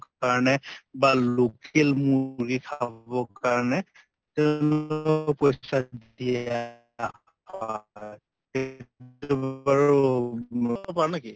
কাৰণে বা local মূৰ্গী খাবৰ কাৰণে পইছা দিয়া হয়। সেইটো বাৰু পাৰো নেকি